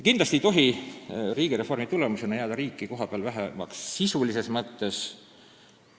Kindlasti ei tohi riigireformi tulemusena jääda riiki kohapeal sisulises mõttes vähemaks.